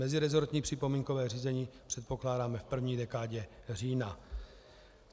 Mezirezortní připomínkové řízení předpokládáme v první dekádě října.